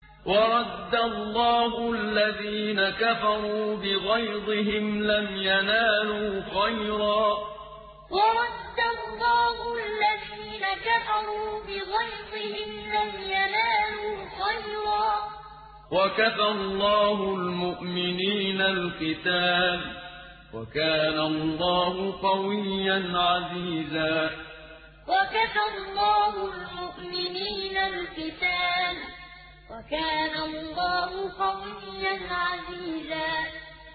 وَرَدَّ اللَّهُ الَّذِينَ كَفَرُوا بِغَيْظِهِمْ لَمْ يَنَالُوا خَيْرًا ۚ وَكَفَى اللَّهُ الْمُؤْمِنِينَ الْقِتَالَ ۚ وَكَانَ اللَّهُ قَوِيًّا عَزِيزًا وَرَدَّ اللَّهُ الَّذِينَ كَفَرُوا بِغَيْظِهِمْ لَمْ يَنَالُوا خَيْرًا ۚ وَكَفَى اللَّهُ الْمُؤْمِنِينَ الْقِتَالَ ۚ وَكَانَ اللَّهُ قَوِيًّا عَزِيزًا